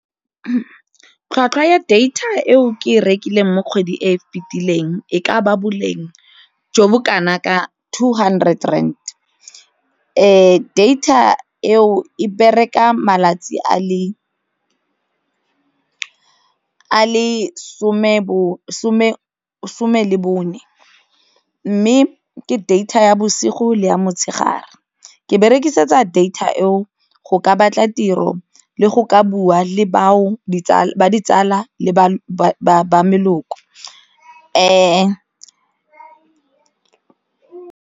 Tlhwatlhwa ya data eo ke e rekileng mo kgwedi e fitileng e ka ba boleng jo bo kana ka two hundred rand data eo e bereka malatsi a le ka a le some le bone mme ke data ya bosigo le ya motshegare, ke berekisetsa data eo go ka batla tiro le go ka bua le bao ditsala le ba leloko .